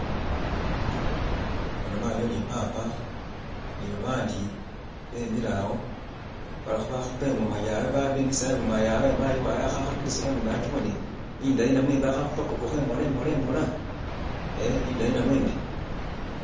bona mayi uyo ni papa ni babandi bemile awo balikhebakhupa ingoma yawe bemisile awo ingoma yabwe mayi wabwe akhakhakilisakho ingoma iyo akibone indayi namwe imbi akhakhupakakakho imola imola imola ehh indayi namwe imbi .